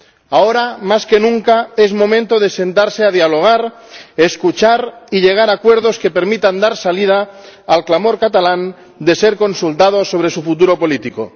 Ahora más que nunca es momento de sentarse a dialogar, escuchar y llegar a acuerdos que permitan dar salida al clamor de los catalanes que piden ser consultados sobre su futuro político.